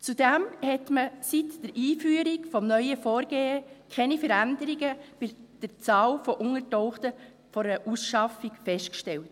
Zudem hat man seit der Einführung des neuen Vorgehens keine Veränderungen bei der Zahl von Untergetauchten vor einer Ausschaffung festgestellt.